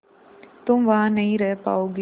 तुम वहां नहीं रह पाओगी